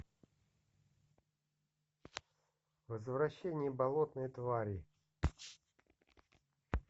возвращение болотной твари